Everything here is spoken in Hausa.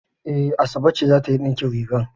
E, Asabe ce za ta yi ɗinkin riga.